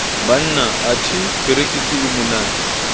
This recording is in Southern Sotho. banna anthe perekisi e monate